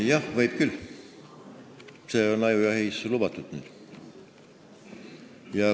Jah, võib küll, see on ka ajujahil nüüd lubatud.